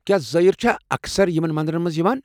کیٛاہ زٲرین چھا اکثر یمن مندرن منٛز یوان۔